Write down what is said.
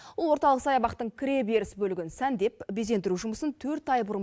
ол орталық саябақтың кіре беріс бөлігін сәндеп безендіру жұмысын төрт ай бұрын